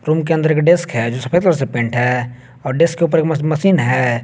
Room के अंदर एक डेस्क है जो सफेद कलर से पेंट है और डेस्क ऊपर एक म मशीन है।